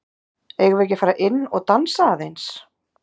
Eigum við ekki að fara inn og dansa aðeins?